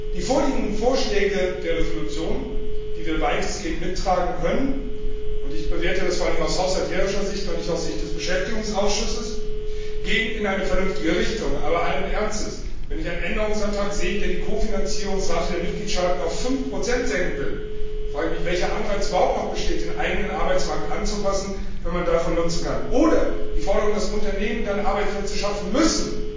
Die vorliegenden Vorschläge der Entschließung, die wir weitestgehend mittragen können und ich bewerte das vor allen Dingen aus haushalterischer Sicht und nicht aus Sicht des Beschäftigungsausschussess gehen in eine vernünftige Richtung. Aber allen Ernstes Wenn ich einen Änderungsantrag sehe, der die Kofinanzierungsrate der Mitgliedstaaten auf 5 senken will, frage ich mich, welcher Anreiz überhaupt noch bestehen, um den eigenen Arbeitsmarkt anzupassen, wenn man daraus Nutzen ziehen kann. Oder die Forderung, dass Unternehmen dann Arbeitsplätze schaffen müssen!